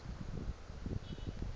ngulwesine